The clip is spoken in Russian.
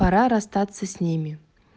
пора расстаться с ними